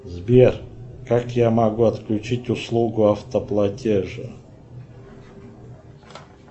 сбер как я могу отключить услугу автоплатеж